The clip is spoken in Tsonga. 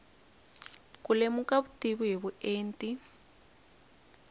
ku lemuka vutivi hi vuenti